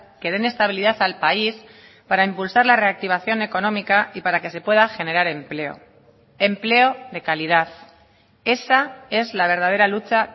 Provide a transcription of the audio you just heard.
que den estabilidad al país para impulsar la reactivación económica y para que se pueda generar empleo empleo de calidad esa es la verdadera lucha